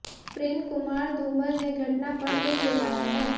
प्रेम कुमार धूमल ने घटना पर दुख जताया है